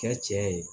Kɛ cɛ ye